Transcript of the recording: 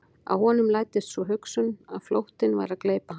Að honum læddist sú hugsun að flóttinn væri að gleypa hann.